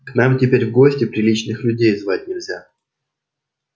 к нам теперь в гости приличных людей звать нельзя